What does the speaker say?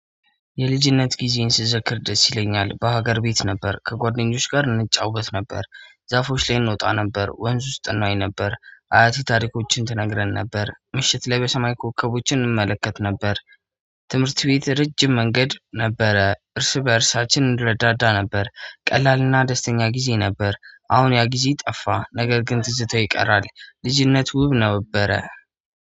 የልጅነት ጊዜን ስዘክር ደስ ይለኛል በሀገር ቤት ነበር ከጓደኞች ጋር እንጫወት ነበር ዛፎች ላይ እንወጣ ነበር ወንዝ ውስጥ እንዋኝ ነበር አያት ታሪኮችን ትነግረን ነበር ምሽት ላይ በሰማይ ኮከቦችን እንመለከት ነበር። ትምህርት ቤት ረጅም መንገድ ነበረ እርስ በእርሳችን እንረዳዳ ነበር ቀላልና ደስተኛ ጊዜ ነበር። አሁን ያ ጊዜ ጠፋ ነገር ግን ትዝተው ይቀራል። ልጅነት ውብ ነበረ።